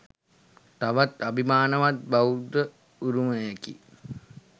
තවත් අභිමානවත් බෞද්ධ උරුමයකි.